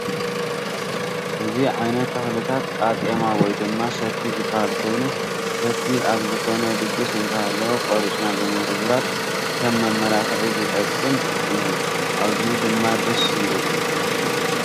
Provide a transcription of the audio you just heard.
እዚ ዓይነት ተኽሊታት ቃጤማ ወይ ድማ ሰቲ ዝበሃል ኮይኑ ፤ ሰቲ ኣብ ዝኮነ ድግስ እንትህልው ቆሪፅና ብምርብራብ ከም መመላክዒ ዝጠቅም እዩ ። ኣዝዩ ድማ ደስ ይብል።